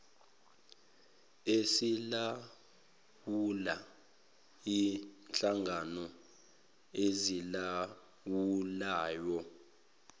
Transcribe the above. esilawula inhlangano ezilawulayo